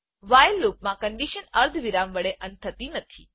while loopમાં condition અર્ધવિરામ વડે અંત થતી નથી